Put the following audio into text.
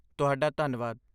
ਤੁਹਾਡਾ ਧੰਨਵਾਦ!